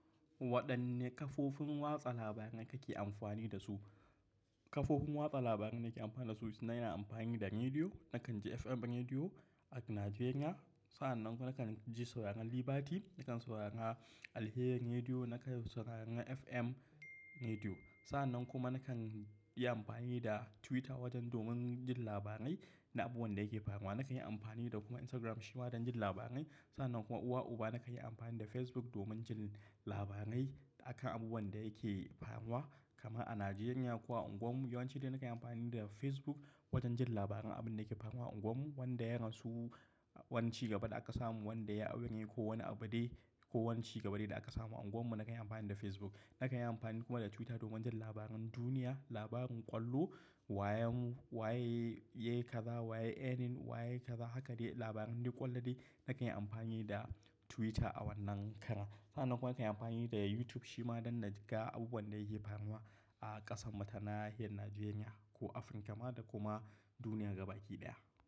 Waɗanne kafofin watsa labarai kake amfani da su? Kafofin watsa labaran da ke amfani da su, ina amfani da rediyo. Nakan ji FM Rediyo a Najeriya. Sa'annan kuma nakan ji sauraron Liberty, nakan saurara Alhier Rediyo, nakan sauraron FM Rediyo. Sa'annan kuma nakan yi amfani da Twitter wajen domin jin labarai na abun da yake faruwa. Nakan yi amfani da kuma Instagram shi ma don jin labarai. Sa'annan kuma uwa uba, nakan yi amfani da Facebook domin jin labarai akan abun wanda yake faruwa. Kama a Najeriya ko unguwar mu yawanci dai na yi amfani da Facebook wajen jin labaran abin da ke faruwa a unguwar mu, wanda ya rasu, wance gabaɗa aka samu, wanda ya aure ko wani abu dai ko wance gabaɗaya da aka samu a unguwar mu, nakan yi amfani da Facebook. Nakan yi amfani kuma da Twitter domin jin labaran duniya, labaran ƙwallo, wayen waye yake kaza, waye erin, waye kaza, haka dai labaran dai ƙwallone nakan yi amfani da Twitter a wannan karen. Sa'nan kuma kayan yi amfani da YouTube shi ma don na ji ga abun da yake faruwa a ƙasan mu ta nahiyar Najeriya ko Afirka ma da kuma duniya gaba baki daya.